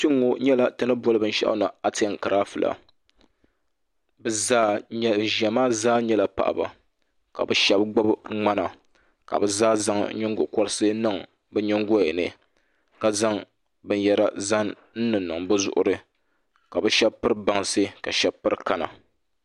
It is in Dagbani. kpe ŋɔ nyɛla ti ni boli binshɛɣu ni atinkirafula ban ʒia maa zaa nyɛla paɣaba ka bɛ shaba gbibi ŋmana ka bɛ zaa zaŋ nyingokoliti niŋ bɛ nyingoya ni ka zaŋ binyara zaŋ niŋniŋ bɛ zuɣiri ka bɛ shaba piri bansi ka shaba piri kana